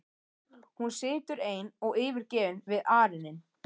Hún situr ein og yfirgefin við arininn.